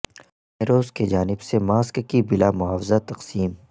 نیروس کی جانب سے ماسک کی بلا معاوضہ تقسیم